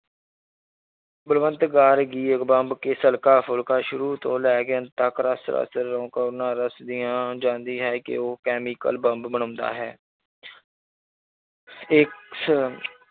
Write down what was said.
Balwant Gargi bomb case ਹਲਕਾ ਫ਼ੁਲਕਾ ਸ਼ੁਰੂ ਤੋਂ ਲੈ ਕੇ ਅੰਤ ਤੱਕ ਜਾਂਦੀ ਹੈ ਕਿ ਉਹ chemical ਬੰਬ ਬਣਾਉਂਦਾ ਹੈ ਇਸ